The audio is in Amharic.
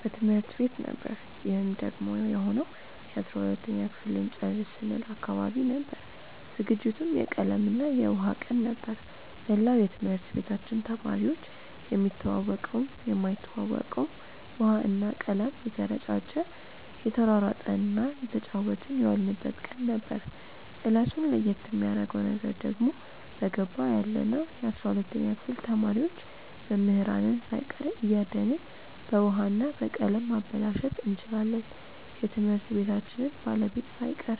በትምህርት ቤት ነበር ይህም ደግሞ የሆነው የ12ተኛ ክፍል ልንጨርስ ስንል አካባቢ ነበር። ዝግጅቱም የቀለም እና የውሃ ቀን ነበር። መላው የትምህርት ቤታችን ተማሪዎች የሚተዋወቀውም የማይተዋወቀውም ውሃ እና ቀለም እየተረጫጨ እየተሯሯጠ እና እየተጫወትን የዋልንበት ቀን ነበር። እለቱን ለየት የሚያረገው ነገር ደግሞ በገባው ያለነው የ12ተኛ ክፍል ተማሪዎች መምህራንን ሳይቀር እያደንን በውሀ እና በቀለም ማበላሸት እንችላለን የትምህርት ቤታችንን ባለቤት ሳይቀር።